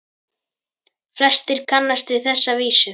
Flestir kannast við þessa vísu